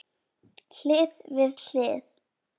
Hlið við hlið.